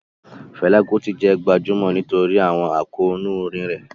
Fela Kuti jẹ́ gbajúmọ̀ nítorí àwọn àkóónú orin rẹ̀.